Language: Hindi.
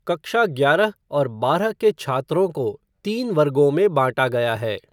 कक्षा ग्यारह और बारह के छात्रों को तीन वर्गों में बाँटा गया है।